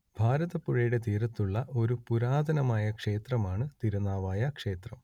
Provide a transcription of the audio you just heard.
ഭാരതപ്പുഴയുടെ തീരത്തുള്ള ഒരു പുരാതനമായ ക്ഷേത്രമാണ് തിരുനാവായ ക്ഷേത്രം